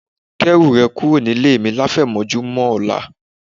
Kẹ́rù rẹ̀ kúrò nílé mi láfẹ̀mọ́júmọ̀ ọ̀la